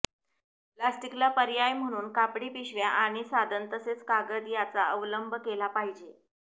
प्लास्टिकला पर्याय म्हणून कापडी पिशव्या आणि साधन तसेच कागद याचा अवलंब केला पाहिजे